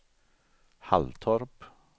Halltorp